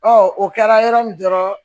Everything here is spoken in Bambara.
o kɛra yɔrɔ min dɔrɔn